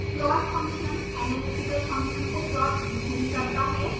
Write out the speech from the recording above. plot function analytical function को plot नहीं करता है